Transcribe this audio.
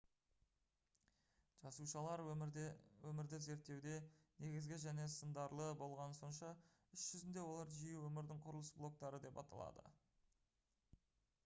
жасушалар өмірді зерттеуде негізгі және сындарлы болғаны сонша іс жүзінде олар жиі «өмірдің құрылыс блоктары» деп аталады